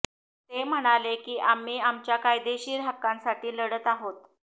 ते म्हणाले की आम्ही आमच्या कायदेशीर हक्कांसाठी लढत आहोत